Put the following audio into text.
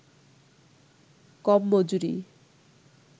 কম মজুরি